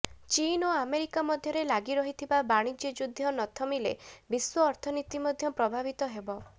ଚୀନ୍ ଓ ଆମେରିକା ମଧ୍ୟରେ ଲାଗି ରହିଥିବା ବାଣିଜ୍ୟ ଯୁଦ୍ଧ ନଥମିଲେ ବିଶ୍ୱ ଅର୍ଥନୀତି ମଧ୍ୟ ପ୍ରଭାବିତ ହେବ